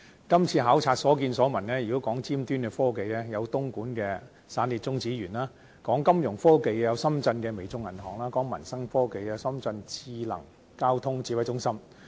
今次考察所見所聞，如果說到尖端科技，有東莞的"散裂中子源"項目，說到金融科技有深圳的微眾銀行，說到民生科技有深圳市交警智能交通指揮中心。